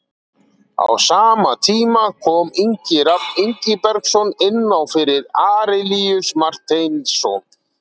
Á sama tíma kom Ingi Rafn Ingibergsson inná fyrir Arilíus Marteinsson.